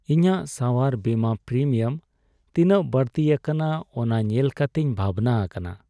ᱤᱧᱟᱹᱜ ᱥᱟᱣᱟᱨ ᱵᱤᱢᱟᱹ ᱯᱨᱤᱢᱤᱭᱟᱢ ᱛᱤᱱᱟᱹᱜ ᱵᱟᱹᱲᱛᱤ ᱟᱠᱟᱱᱟ ᱚᱱᱟ ᱧᱮᱞ ᱠᱟᱛᱮᱧ ᱵᱷᱟᱵᱽᱱᱟ ᱟᱠᱟᱱᱟ ᱾